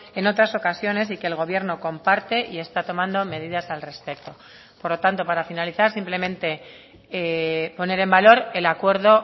en otras ocasiones y que el gobierno comparte y está tomando medidas al respecto por lo tanto para finalizar simplemente poner en valor el acuerdo